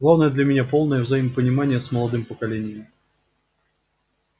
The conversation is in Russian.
главное для меня полное взаимопонимание с молодым поколением